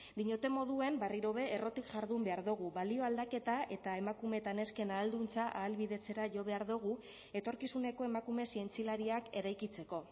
diñodan moduan berriro be errotik jardun behar dugu balio aldaketa eta emakume eta nesken ahalduntze ahalbidetzera jo behar dugu etorkizuneko emakume zientzialariak eraikitzeko